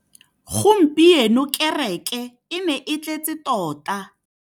Gompieno kêrêkê e ne e tletse tota.